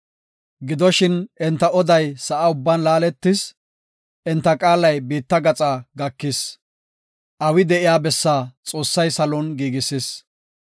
Gidoshin enta oday sa7a ubban laaletis; enta qaalay biitta gaxaa gakis. Awi de7iya bessi Xoossay salon giigisis.